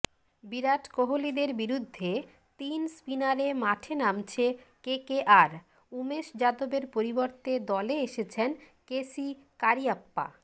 বিরাট কোহলিদের বিরুদ্ধে তিন স্পিনারে মাঠে নামছে কেকেআর উমেশ যাদবের পরিবর্তে দলে এসেছেন কেসি কারিয়াপ্পা